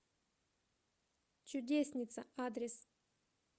чудесница адрес